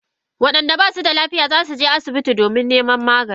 Wa inda basu da lafiya zasu je asibiti domin neman magani.